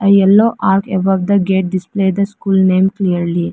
A yellow arc above the gate display the school name clearly.